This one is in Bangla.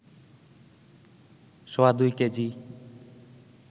সোয়াদুই কেজি